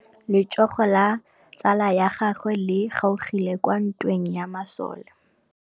Letsôgô la tsala ya gagwe le kgaogile kwa ntweng ya masole.